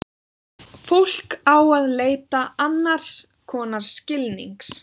Fólk á að leita annars konar skilnings.